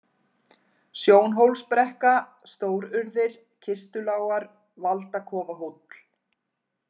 Sjónhólsbrekka, Stórurðir, Kistulágar, Valdakofahóll